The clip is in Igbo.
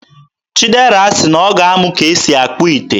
Chidera sị na ọ ga-amụ ka e si akpụ ite